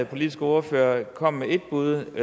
politiske ordfører kom med et bud